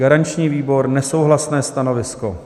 Garanční výbor nesouhlasné stanovisko.